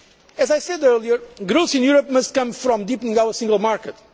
As I said earlier, growth in Europe must come from deepening our Single Market.